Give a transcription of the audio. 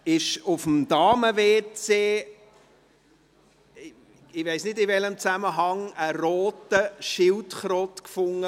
Auf dem Damen-WC, ich weiss nicht in welchem Zusammenhang, wurde eine rote Schildkröte gefunden.